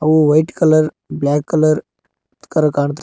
who white colour black colour ಕಾಣ್ತಿ--